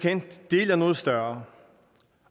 del af noget større